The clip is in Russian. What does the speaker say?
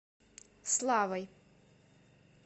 славой